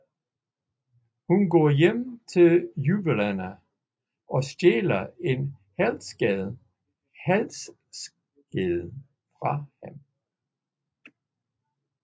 Hun går hjem til juveleren og stjæler en halskæde fra ham